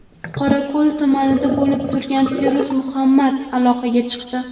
Qorako‘l tumanida bo‘lib turgan Feruz Muhammad aloqaga chiqdi.